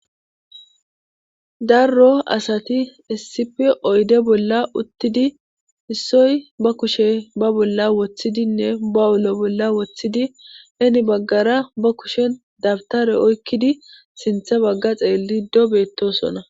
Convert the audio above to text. Darro asati essipe oyde bolla uttidi issoy ba kushe ba bolla woththidinne ba7ulo bolla woththidi eni baggara ba kushen dabtare oykkidi sintha bagga xeellido beettosona.